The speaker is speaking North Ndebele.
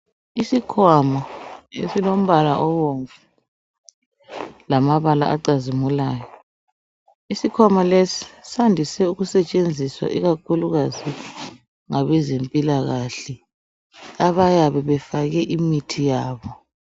Isikhwama esilombala obomvu lamabala acazimulayo. Iskhwama lesi sandiswe ukusentshenziswa ikakhulukazi ngabezempilakahle abayabe befake imithi yabo.